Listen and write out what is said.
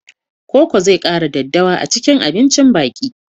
Koko zai kara daddawa a cikin abincin biki.